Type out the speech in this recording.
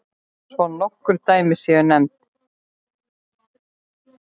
Svo nokkur dæmi séu nefnd.